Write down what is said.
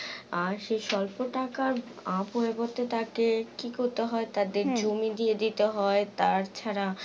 আর সেই সল্প টাকার আহ পরিবর্তে তাকে কি করতে হয়? তাদের জমি দিয়ে দিতে হয় তাছাড়া